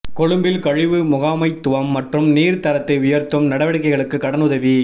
கொழும்பில் கழிவு முகாமைத்துவம் மற்றும் நீர் தரத்தை உயர்த்தும் நடவடிக்கைகளுக்கு கடன் உதவி